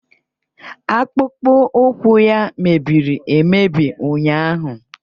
Akpụkpọụkwụ ya mebiri emebi ụnyaahụ